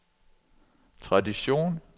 tradition